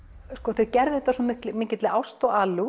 þeir gerðu þetta af svo mikill ást og alúð